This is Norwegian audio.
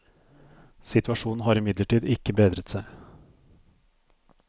Situasjonen har imidlertid ikke bedret seg.